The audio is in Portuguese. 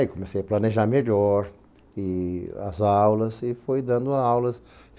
Aí comecei a planejar melhor e as aulas e fui dando aulas.